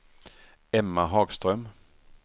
Emma Hagström